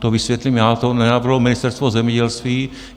To vysvětlím já, to nenavrhlo Ministerstvo zemědělství.